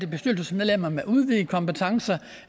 bestyrelsesmedlemmer med udvidede kompetencer